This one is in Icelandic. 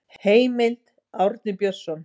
Heimild: Árni Björnsson.